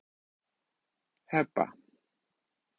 Heba